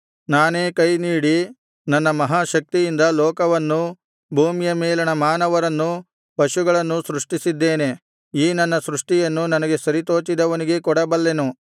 ನಾನೇ ಕೈ ನೀಡಿ ನನ್ನ ಮಹಾ ಶಕ್ತಿಯಿಂದ ಲೋಕವನ್ನೂ ಭೂಮಿಯ ಮೇಲಣ ಮಾನವರನ್ನೂ ಪಶುಗಳನ್ನೂ ಸೃಷ್ಟಿಸಿದ್ದೇನೆ ಈ ನನ್ನ ಸೃಷ್ಟಿಯನ್ನು ನನಗೆ ಸರಿತೋಚಿದವನಿಗೇ ಕೊಡಬಲ್ಲೆನು